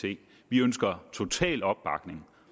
vi ønsker total opbakning